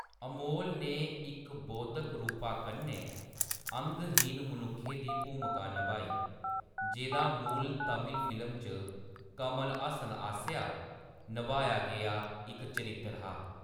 अमोल ने इक बौद्धक रूपा कन्नै अंगहीन मनुक्खै दी भूमिका नभाई, जेह्‌‌दा मूल तमिल फिल्म च कमल हासन आसेआ नभाया गेआ इक चरित्तर हा।